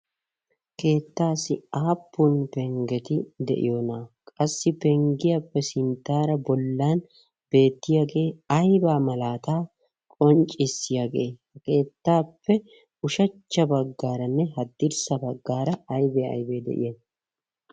keettassi aappun peggeti de'iyoona? qassi penggiyaappe sinttara bollan beettiyaage aybba malata qonccissiyaagee? ha kettappe ushachcha baggaranne haddirssa baggara aybbe aybbe? de'iyay?